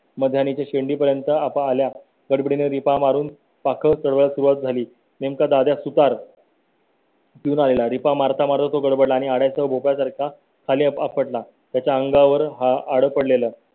मग त्यांनी शेती पर्यंत आपल्या गडबडी ने दीपा मारून पाकळ्या सुरवात झाली. नेमका दादा सुतार. पिऊन आलेला रिपा मारता मारता तो गडबडला आणि त्याचा सारखा खाली आपटला. त्याच्या अंगावर आड पडलेलं